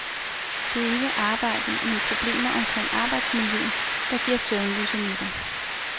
Det er ikke arbejdet men problemer omkring arbejdsmiljøet, der giver søvnløse nætter.